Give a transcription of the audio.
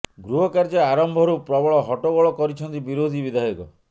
ଗୃହ କାର୍ଯ୍ୟ ଆରମ୍ଭରୁ ପ୍ରବଳ ହଟ୍ଟଗୋଳ କରିଛନ୍ତି ବିରୋଧୀ ବିଧାୟକ